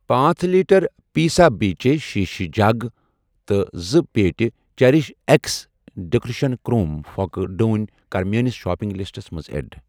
پانژھ لیٖٹر پیسابیچے شیٖشہٕ جگ تہٕ زٕ پیٹہِ چیٚرِش اٮ۪کس ڈٮ۪کُریشن کرٛوم پھۄکہٕ ڈوٗنۍ کَر میٲنِس شاپنگ لسٹَس منٛز ایڈ۔